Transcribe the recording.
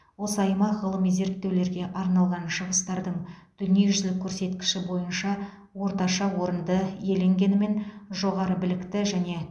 осы аймақ ғылыми зерттеулерге арналған шығыстардың дүниежүзілік көрсеткіші бойынша орташа орынды иеленгенімен жоғары білікті және